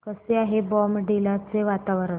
कसे आहे बॉमडिला चे वातावरण